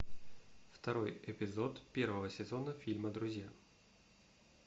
второй эпизод первого сезона фильма друзья